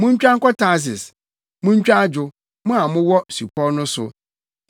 Muntwa nkɔ Tarsis; muntwa adwo, mo a mowɔ supɔw no so.